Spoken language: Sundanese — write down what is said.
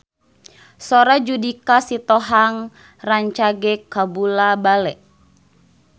Sora Judika Sitohang rancage kabula-bale